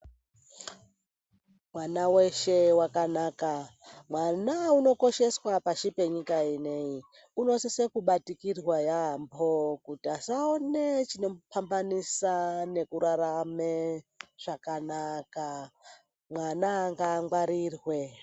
Vana veshe vakanaka mwana unokosheswa pashi penyika ineyi unosise kubatikirwa yaampo kuti asane chinopambanisa nekurarame zvakqnaka mwqna ngaangwarirwe .